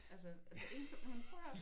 Altså altså én jamen prøv og hør